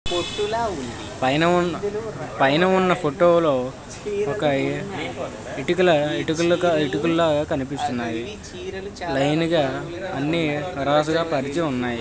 పొత్తుల పైన ఉన్న పైన ఉన్న ఫోటో లో ఒక ఇటుకలు కనిపిస్తున్నాయి లైన్ గ అన్ని అరసుగా పరిచి ఉన్నాయి .